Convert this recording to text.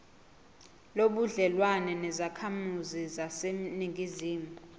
nobudlelwane nezakhamizi zaseningizimu